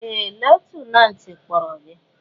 Ee! Lutenantị kpọrọ gị!